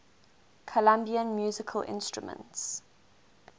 colombian musical instruments